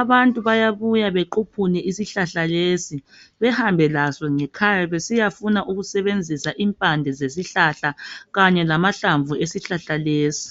abantu bayabuya bequphune isihlahla lesi, behambe laso ngekhaya besiya funa ukusebenzisa impande zesihlahla kanye lama hlamvu esihlahla lesi.